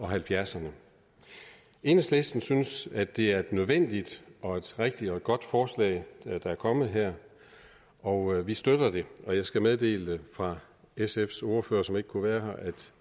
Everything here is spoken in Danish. halvfjerdserne enhedslisten synes at det er et nødvendigt og et rigtigt og et godt forslag der er kommet her og vi støtter det og jeg skal meddele fra sfs ordfører som ikke kunne være her at